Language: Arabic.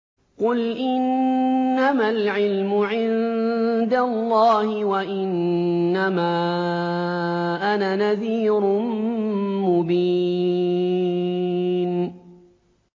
قُلْ إِنَّمَا الْعِلْمُ عِندَ اللَّهِ وَإِنَّمَا أَنَا نَذِيرٌ مُّبِينٌ